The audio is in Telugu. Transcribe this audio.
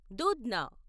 దూధ్న